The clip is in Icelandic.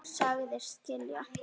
Sagðist skilja.